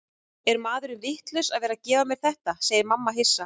Er maðurinn vitlaus að vera að gefa mér þetta, segir mamma hissa.